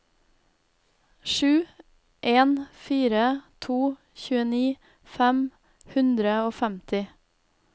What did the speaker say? sju en fire to tjueni fem hundre og femti